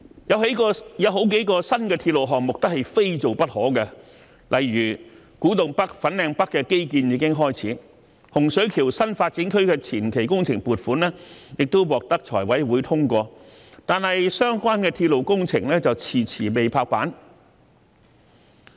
有好幾個新鐵路項目都是非做不可，例如古洞北和粉嶺北的基建已經開始，洪水橋新發展區的前期工程撥款亦獲財委會通過，但相關的鐵路工程卻遲遲未拍板。